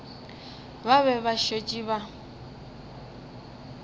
ba be ba šetše ba